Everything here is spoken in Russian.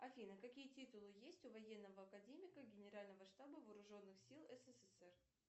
афина какие титулы есть у военного академика генерального штаба вооруженных сил ссср